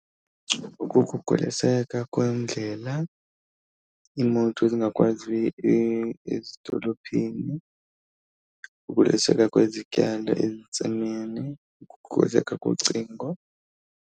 Ukukhukhuliseka kwendlela iimoto zingakwazi ezidolophini, ukhukhuliseka kwezityalo entsimini, kocingo.